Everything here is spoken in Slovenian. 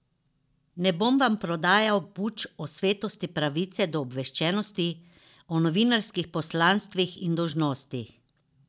Ne bom vam prodajal buč o svetosti pravice do obveščenosti, o novinarskih poslanstvih in dolžnostih.